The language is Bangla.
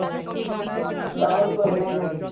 download করবে নাকি